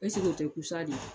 Ɛseke o tɛ kusa de ye.